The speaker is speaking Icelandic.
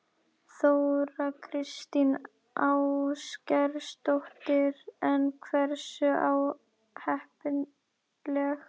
Þóra Kristín Ásgeirsdóttir: En hversu óheppileg?